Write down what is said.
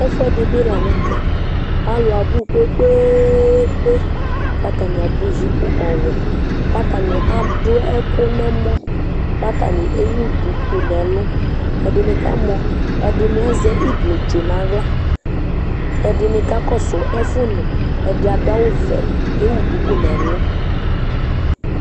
ɛfoɛdi bi lantɛ alo abu kpekpekpe k'atani ado jup ɔwɛ k'atani ado ɛkò n'ɛmɔ k'atani ewu duku n'ɛlu ɛdini k'amɔ ɛdini azɛ iblu tsu n'ala ɛdini kakɔsu ɛfu nò ɛdi ado awu vɛ k'ewu duku n'ɛlu